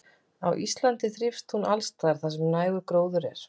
Á Íslandi þrífst hún alls staðar þar sem nægur gróður er.